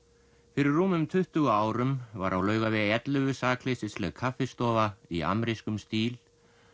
fyrir rúmum tuttugu árum var á Laugavegi ellefu sakleysisleg kaffistofa í amerískum stíl